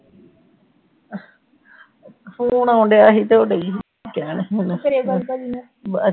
Phone ਆਉਣ ਢਿਆਂ ਹੀ ਉਹ ਦੇਈ ਸੀ ਕਿਹਣ ਮੈਨੂੰ।